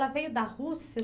Ela veio da Rússia?